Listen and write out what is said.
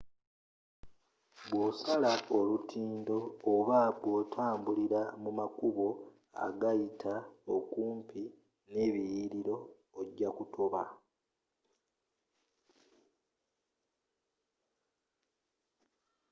bwosala olutindo oba bwotambula mu makubo agayita okumpi n'ebiliyiliro ojja kutoba